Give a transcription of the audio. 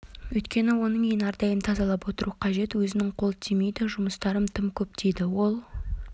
өйткені оның үйін әрдайым тазалап отыру қажет өзінің қолы тимейді жұмыстары тым көп дейді ол